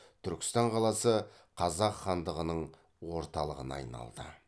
түркістан қаласы қазақ хандығының орталығына айналды